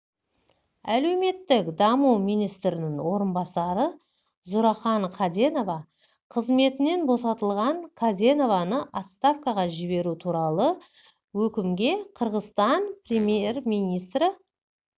әлеуметтік даму министрінің орынбасары зууракан каденова қызметінен босатылған каденованы отставкаға жіберу туралы өкімге қырғызстан премьер-министрі